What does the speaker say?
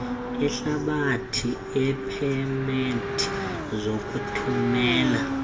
ehlabathi iipemethe zokuthumela